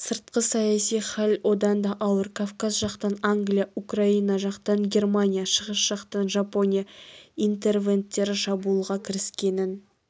сыртқы саяси хәл одан да ауыр кавказ жақтан англия украина жақтан германия шығыс жақтан жапония интервенттері шабуылға кіріскенін